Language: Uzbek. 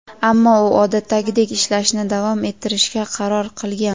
Ammo u odatdagidek ishlashni davom ettirishga qaror qilgan.